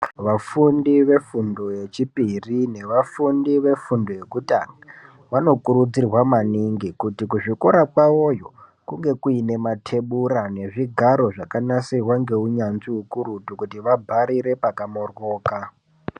Vafundi vefundo yechipiri nevafundi vefundo yekutanga vanokurudzirwa maningi kuti kuzvikora kwawoyo kunge kuine matebura nezvigaro zvakanasirwa ngeunyanzvi ukurutu kuti vabharire pakamoryoka.